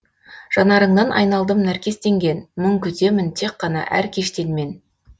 жанарыңнан айналдым нәркестенген мұң күтемін тек қана әр кештен мен